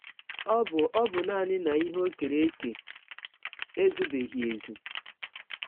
Ọ bụ Ọ bụ nanị na ihe o kere eke ezụbeghị ezụ.